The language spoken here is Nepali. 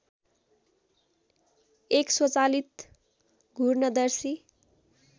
एक स्वचालित घूर्णदर्शी